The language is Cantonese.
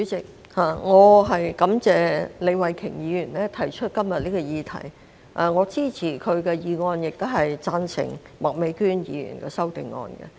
主席，感謝李慧琼議員提出今天這項議題，我支持她的議案，亦贊成麥美娟議員的修正案。